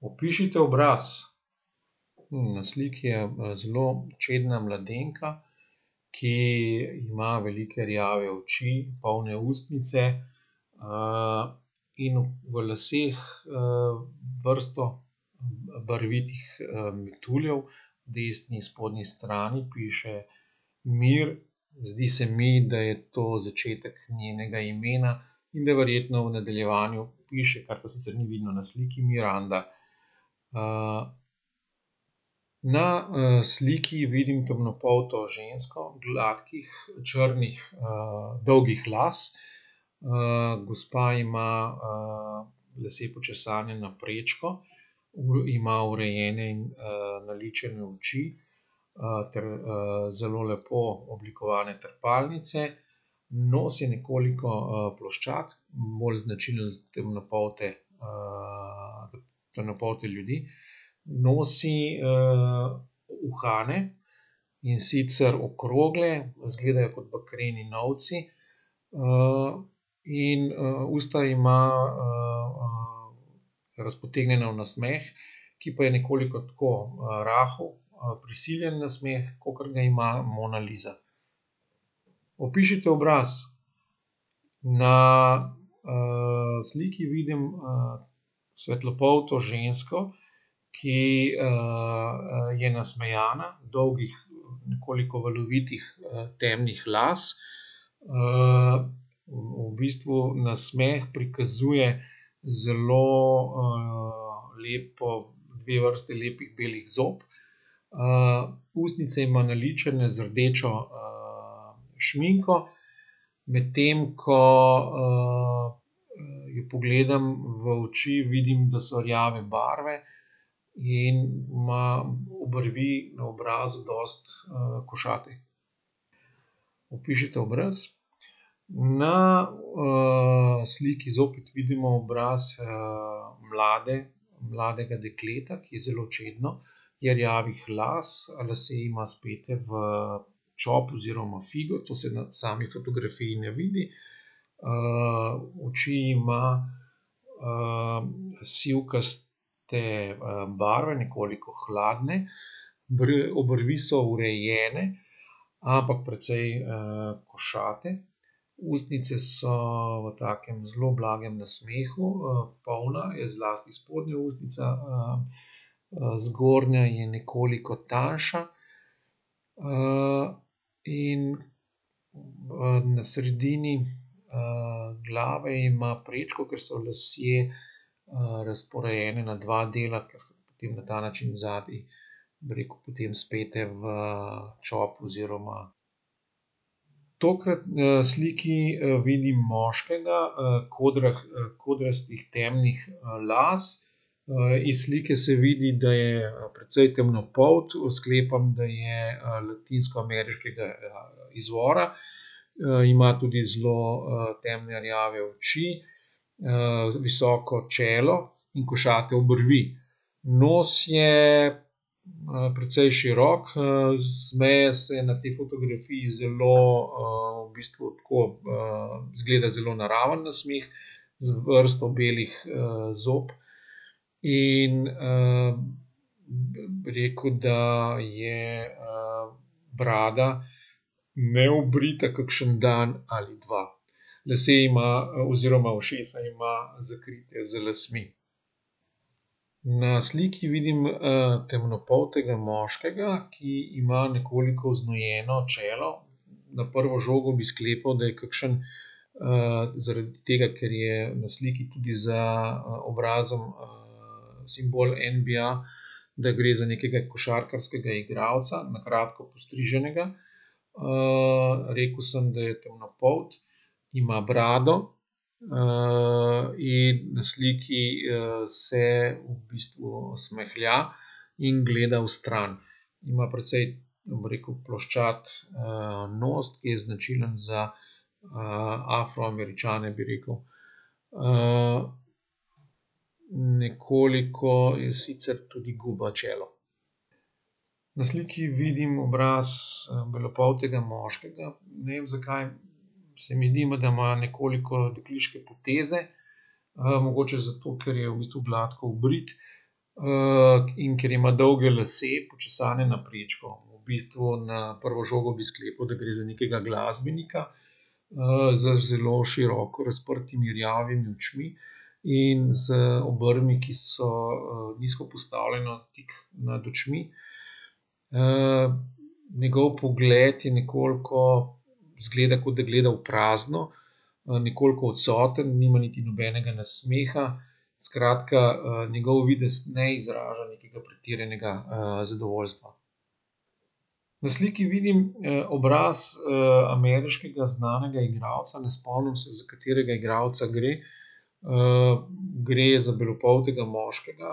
Opišite obraz. na sliki je, zelo čedna mladenka, ki ima velike rjave oči, polne ustnice, in v laseh, vrsto barvitih, metuljev. Desni spodnji strani piše "mir", zdi se mi, da je to začetek njenega imena in da verjetno v nadaljevanju piše, kar pa sicer ni vidno na sliki, Miranda. na, sliki vidim temnopolto žensko, gladkih, črnih, dolgih las. gospa ima, lase počesane na prečko, ima urejene in, naličene oči. ter, zelo lepo oblikovane trepalnice. Nos je nekoliko, ploščat. Bolj značilen za temnopolte, temnopolte ljudi. Nosi, uhane, in sicer okrogle, izgledajo kot bakreni novci. in, usta ima, razpotegnjena v nasmeh, ki pa je nekoliko tako, rahel prisiljen nasmeh, kakor ga ima Mona Lisa. Opišite obraz. Na, sliki vidim, svetlopolto žensko, ki, je nasmejana, dolgih, nekoliko valovitih, temnih las, v bistvu nasmeh prikazuje zelo, lepo, dve vrsti lepih belih zob, ustnice ima naličene z rdečo, šminko, medtem ko, jo pogledam v oči, vidim, da so rjave barve, in ima obrvi na obrazu dosti, košate. Opišite obraz. Na, sliki zopet vidimo obraz, mlade, mladega dekleta, ki je zelo čedno, je rjavih las, lase ima spete v čop oziroma figo, to se na sami fotografiji ne vidi. oči ima, sivkaste, barve, nekoliko hladne, obrvi so urejene, ampak precej, košate, ustnice so v takem zelo blagem nasmehu, polna je zlasti spodnja ustnica, zgornja je nekoliko tanjša, in, na sredini, glave ima prečko, ker so lasje, razporejeni na dva dela, ker so potem na ta način zadaj, bi rekel, potem speti v čop, oziroma. Tokrat, na sliki, vidim moškega, kodrastih temnih, las. iz slike se vidi, da je, precej temnopolt, sklepam, da je, latinskoameriškega izvora. ima tudi zelo, temne rjave oči, visoko čelo in košate obrvi. Nos je, precej širok, z meje se na tej fotografiji zelo, v bistvu, tako izgleda zelo naraven nasmeh z vrsto belih, zob. In, bi bi rekel, da je, brada neobrita kakšen dan ali dva. Lasje ima oziroma ušesa ima zakrite z lasmi. Na sliki vidim, temnopoltega moškega, ki ima nekoliko oznojeno čelo. Na prvo žogo bi sklepali, da je kakšno, zaradi tega, ker je na sliki tudi za obrazom, simbol NBA, da gre za nekega košarkarskega igralca, na kratko postriženega. rekel sem, da je temnopolt, ima brado, in na sliki, se v bistvu smehlja in gleda stran. Ima precej, bi rekel, ploščat, nos, ki je značilen za, Afroameričane, bi rekel. nekoliko, in sicer tudi guba čelo. Na sliki vidim obraz, belopoltega moškega, ne vem, zakaj se mi zdi, da ima nekoliko dekliške poteze. mogoče zato, ker je v bistvu gladko obrit. in ker ima dolge lase, počesane na prečko. V bistvu na prvo žogo bi sklepal, da gre za nekega glasbenika, z zelo široko razprtimi rjavimi očmi in z obrvmi, ki so, nizko postavljene tik nad očmi. njegov pogled je nekoliko, izgleda, kot da gleda v prazno. nekoliko odsoten, nima niti nobenega nasmeha, skratka, njegov videz ne izraža nekega pretiranega, zadovoljstva. Na sliki vidim, obraz, ameriškega znanega igralca. Ne spomnim se, za katerega igralca gre. gre za belopoltega moškega,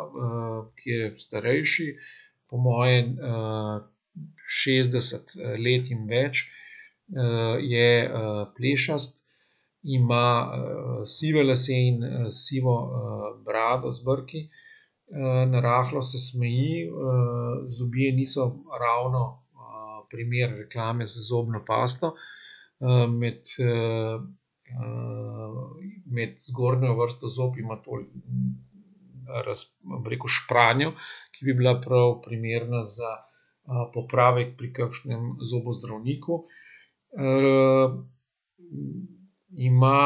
ki je starejši, po moje, šestdeset let in več. je, plešast, ima, sive lase in sivo, brado z brki. narahlo se smeji, zobje niso ravno, primer reklame za zobno pasto. med, med zgornjo vrsto zob ima bi rekel, špranjo, ki bi bila prav primerna za, popravek pri kakšnem zobozdravniku. ima,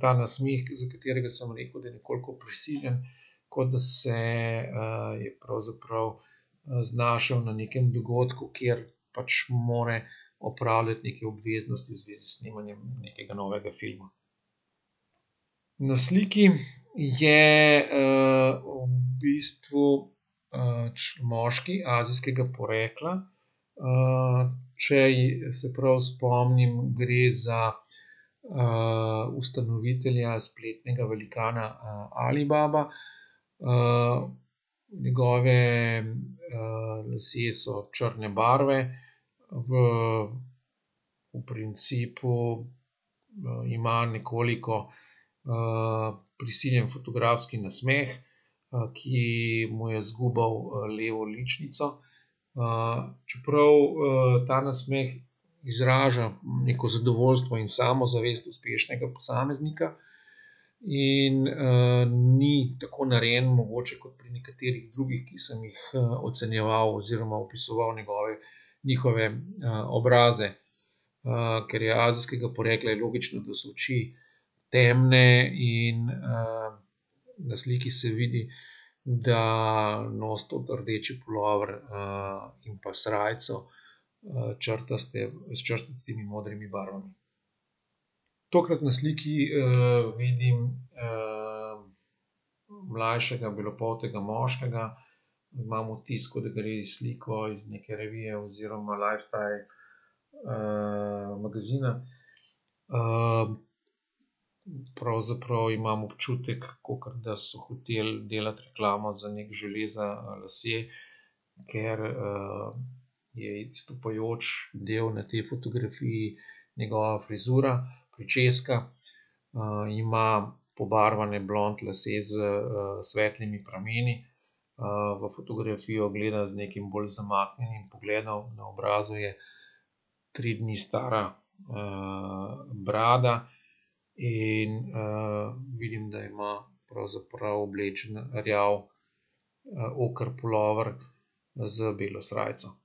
ta nasmeh, za katerega smo rekli, da je nekoliko prisiljen, kot da se, je pravzaprav, znašel na nekem dogodku, kjer pač mora opravljati neke obveznosti v zvezi s snemanjem nekega novega filma. Na sliki je, v bistvu, moški azijskega porekla. če se prav spomnim, gre za, ustanovitelja spletnega velikana, Alibaba. njegovi, lasje so črne barve. V, v principu, ima nekoliko, prisiljen fotografski nasmeh, ki mu je zgubal levo ličnico. čeprav, ta nasmeh izraža neko zadovoljstvo in samozavest uspešnega posameznika in, ni tako narejen mogoče kot pri nekaterih drugih, ki sem jih, ocenjeval oziroma opisoval njegove, njihove, obraze. ker je azijskega porekla, je logično, da so oči temne in, na sliki se vidi, da nosi tudi rdeči pulover, in pa srajco. črtaste, s črtastimi modrimi barvami. Tokrat na sliki, vidim, mlajšega belopoltega moškega. Imam vtis, kot da gre iz sliko iz neke revije oziroma lifestyle, magazina, pravzaprav imam občutek, kakor da so hoteli delati reklamo za neki žele za lase, ker, je izstopajoč del na tej fotografiji njegova frizura, pričeska. ima pobarvane blond lase s, svetlimi prameni. v fotografijo gleda z nekim bolj zamaknjenim pogledom. Na obrazu je tri dni stara, brada in, vidim, da ima pravzaprav oblečen rjav, oker pulover z belo srajco.